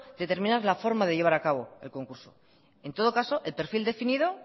determinar la forma de llevar a cabo el concurso en todo caso el perfil definido